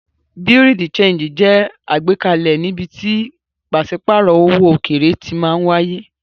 Bùréáù de ṣéńjì jẹ́ àgbékalẹ̀ níbi tí pàṣípàrọ̀ owó òkèèrè ti máa wáyé.